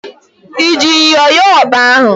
I ji myọ yọọ ọkpa ahụ?